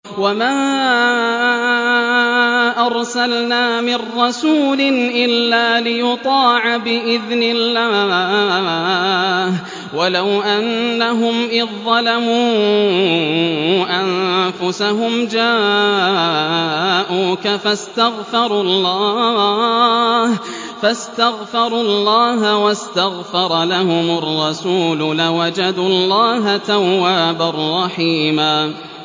وَمَا أَرْسَلْنَا مِن رَّسُولٍ إِلَّا لِيُطَاعَ بِإِذْنِ اللَّهِ ۚ وَلَوْ أَنَّهُمْ إِذ ظَّلَمُوا أَنفُسَهُمْ جَاءُوكَ فَاسْتَغْفَرُوا اللَّهَ وَاسْتَغْفَرَ لَهُمُ الرَّسُولُ لَوَجَدُوا اللَّهَ تَوَّابًا رَّحِيمًا